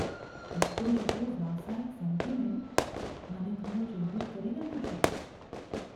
ઘટતું જતું વ્યવસાયિક સેન્ટિમેન્ટ મને થોડો ચિંતિત કરી રહ્યું છે.